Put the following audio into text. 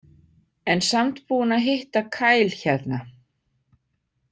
En samt búinn að hitta Kyle hérna.